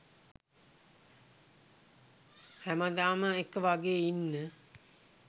හැමදාම එක වගේ ඉන්න